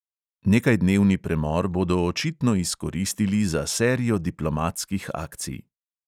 Nekajdnevni premor bodo očitno izkoristili za serijo diplomatskih akcij.